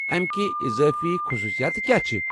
امِکہِ اضٲفی خصوُصیات کیٛاہ چھِ؟